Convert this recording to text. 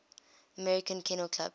american kennel club